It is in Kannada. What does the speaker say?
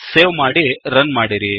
ಸೇವ್ ಮಾಡಿ ರನ್ ಮಾಡಿರಿ